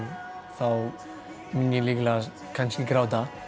þá mun ég líklegast kannski gráta